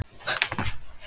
En nú var þetta allt búið.